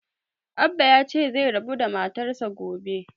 Abbah ya ce zai rabu da matar sa gobe